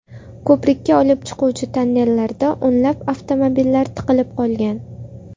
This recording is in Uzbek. Ko‘prikka olib chiquvchi tonnellarda o‘nlab avtomobillar tiqilib qolgan.